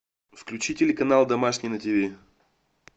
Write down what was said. включи телеканал домашний на тиви